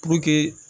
Puruke